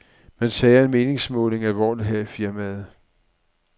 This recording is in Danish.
Man tager en meningsmåling alvorligt her i firmaet.